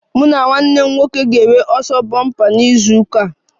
Mụ na nwanne m nwoke ga-enwe ọsọ bompa na izu ụka a